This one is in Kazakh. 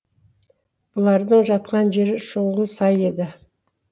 бұлардың жатқан жері шұңғыл сай еді